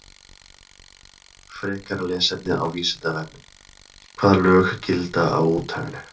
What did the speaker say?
Frekara lesefni á Vísindavefnum: Hvaða lög gilda á úthafinu?